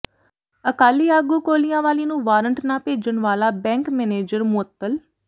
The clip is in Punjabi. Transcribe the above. ਅਕਾਲੀ ਆਗੂ ਕੋਲਿਆਂਵਾਲੀ ਨੂੰ ਵਾਰੰਟ ਨਾ ਭੇਜਣ ਵਾਲਾ ਬੈਂਕ ਮੈਨੇਜਰ ਮੁਅੱਤਲ